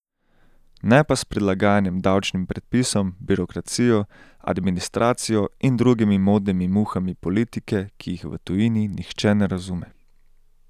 Ne pa s prilagajanjem davčnim predpisom, birokracijo, administracijo in drugimi modnimi muhami politike, ki jih v tujini nihče ne razume.